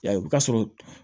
O bɛ taa sɔrɔ